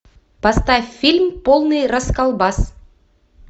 поставь фильм полный расколбас